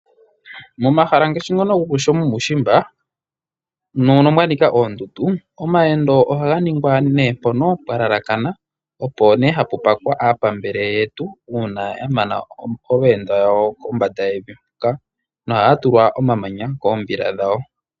Momahala momo mwa nika oondundu, omayendo oha ga ningwa pomahala mpoka pwa lalakana, po opo ne ha pu fumbikwa aapambele yetu, uuna ya mana oondjenda no ha ya tulwa omamanya koombila dhawo.